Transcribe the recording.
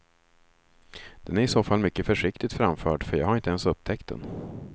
Den är i så fall mycket försiktigt framförd för jag har inte ens upptäckt den.